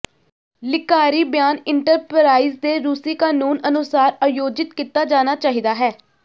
ਲੇਿਾਕਾਰੀ ਬਿਆਨ ਇੰਟਰਪਰਾਈਜ਼ ਦੇ ਰੂਸੀ ਕਾਨੂੰਨ ਅਨੁਸਾਰ ਆਯੋਜਿਤ ਕੀਤਾ ਜਾਣਾ ਚਾਹੀਦਾ ਹੈ